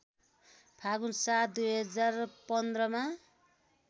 फाल्गुण ७ २०१५ मा